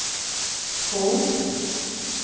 Skog